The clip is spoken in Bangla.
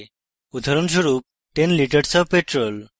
উদাহরণস্বরূপ: 10 litres of petrol